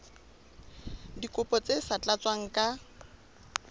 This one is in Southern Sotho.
dikopo tse sa tlatswang ka